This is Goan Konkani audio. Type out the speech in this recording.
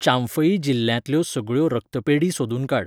चांफई जिल्ल्यांतल्यो सगळ्यो रक्तपेढी सोदून काड.